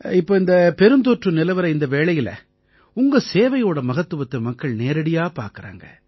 இப்ப இந்தப் பெருந்தொற்று நிலவற இந்த வேளையில உங்க சேவையோட மகத்துவத்தை மக்கள் நேரடியா பார்க்கறாங்க